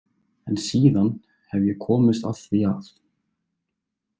En síðan hef ég komist að því að